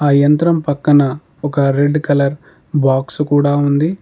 ఆ యంత్రం పక్కన ఒక రెడ్ కలర్ బాక్స్ కూడా ఉంది.